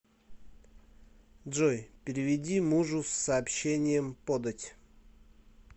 джой переведи мужу с сообщением подать